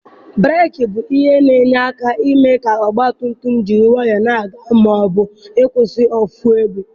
Breeki bụ ihe na-enye aka eme ka ọgba tum tum jiri nwayọọ na-aga ma ọ bụ ịkwụsị ofu ebe.